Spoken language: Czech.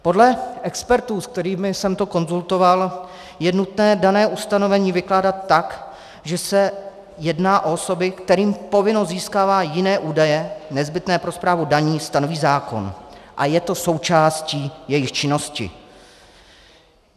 Podle expertů, s kterými jsem to konzultoval, je nutné dané ustanovení vykládat tak, že se jedná o osoby, kterým povinnost získávat jiné údaje nezbytné pro správu daní stanoví zákon a je to součástí jejich činnosti.